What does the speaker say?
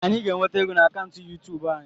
Anyị ga-enweta ego na akaụntụ yuutub anyị.